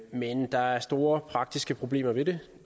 men der er store praktiske problemer ved det